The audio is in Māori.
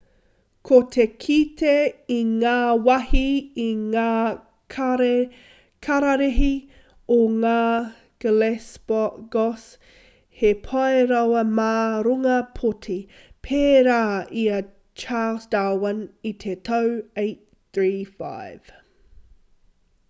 ko te kite i ngā wāhi i ngā kararehe o ngā galapagos he pai rawa mā runga pōti pērā i a charles darwin i te tau 835